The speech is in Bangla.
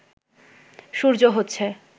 সূর্য হচ্ছে